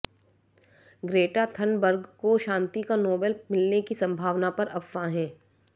Greta Thunberg को शांति का नोबेल मिलने की संभावना पर अफवाहें